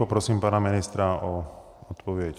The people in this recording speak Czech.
Poprosím pana ministra o odpověď.